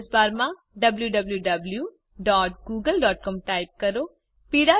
address બારમાં wwwgooglecom type કરો